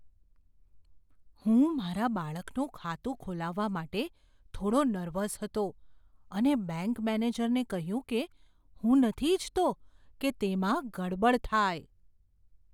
હું મારા બાળકનું ખાતું ખોલાવવા માટે થોડો નર્વસ હતો અને બેંક મેનેજરને કહ્યું કે હું નથી ઈચ્છતો કે તેમાં ગડબડ થાય.